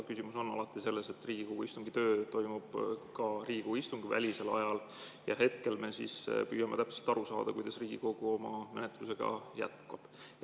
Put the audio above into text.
Küsimus on alati selles, et Riigikogu töö toimub ka Riigikogu istungite välisel ajal, ja hetkel me püüame täpselt aru saada, kuidas Riigikogu oma menetlusega jätkab.